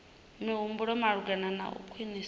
mihumbulo malugana na u khwinisa